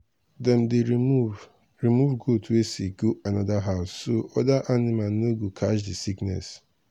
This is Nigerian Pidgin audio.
dem dey remove remove goat wey sick go another house so other animal no go catch the sickness.